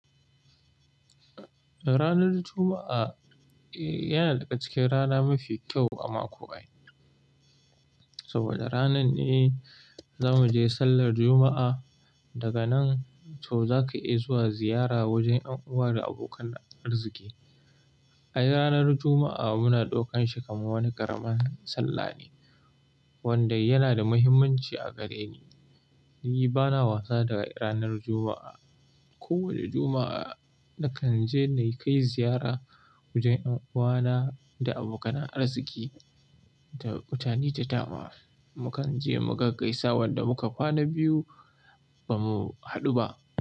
Ranar Juma'a yana daga cikin rana mafi kyau a mako ai. Saboda ranan ne za mu je sallar Juma'a. Daga nan to za ka iya zuwa ziyara wajen ƴan'uwa da abokan arziki. Ai ranar Juma'a muna ɗaukanshi kamar wani ƙaramin sallah ne, wanda yana da muhimmanci a gare ni. Ni bana wasa da ranar Juma'a. Kowani Juma'a nakan je na kai ziyara wajen ƴan'uwana da abokanan arziki da mutane da da ma. Mu kan je mu gaggaisa wanda muka kwana biyu ba mu haɗu ba.